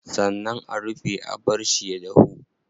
Sannan a rufe a barshi ya dahu.